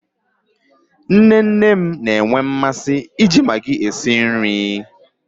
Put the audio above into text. Nne nne m na-enwe mmasị iji magii esi nri.